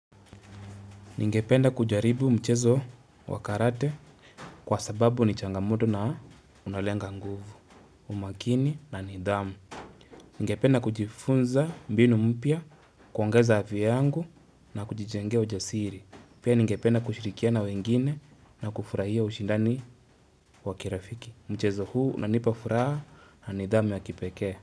Ningependa kujaribu mchezo wa karate kwa sababu ni changamoto na unalenga nguvu, umakini na nidhamu. Ningependa kujifunza mbinu mpya, kuongeza avi yangu na kujijengea ujasiri. Pia ningependa kushirikiana na wengine na kufurahia ushindani wa kirafiki. Mchezo huu nanipafuraha na nidhamu ya kipeke.